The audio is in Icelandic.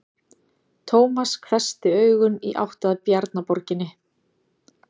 Tómas hvessti augun í átt að Bjarnaborginni.